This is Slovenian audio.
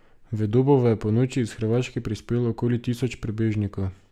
V Dobovo je ponoči iz Hrvaške prispelo okoli tisoč prebežnikov.